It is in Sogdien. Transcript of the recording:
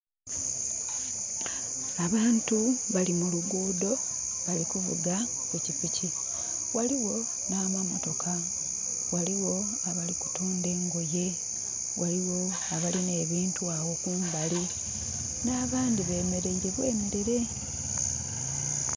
Abantu bali mu luguudo bali kuvuga pikipiki. Ghaligho n'amamotoka. Ghalogho abali kutunda engoye. Ghaligho abalina ebintu agho kumbali. N'abandi bemeleire bwemelere.